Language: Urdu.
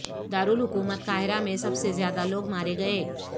دارالحکومت قاہرہ میں سب سے زیادہ لوگ مارے گئے